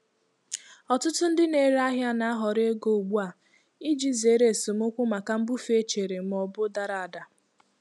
Ọtụtụ ndị na-ere ahịa na-ahọrọ ego ugbu a iji zere esemokwu maka mbufe echere ma ọ bụ dara ada.